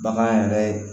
Bagan yɛrɛ